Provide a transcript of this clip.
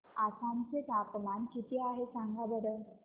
आसाम चे तापमान किती आहे सांगा बरं